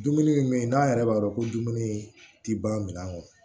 Dumuni min n'a yɛrɛ b'a dɔn ko dumuni tɛ ban minɛn kɔnɔ